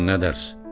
Çubuqdan nə dərs?